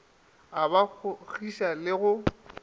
o ba kgogiša le go